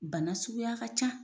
Bana suguya ka ca;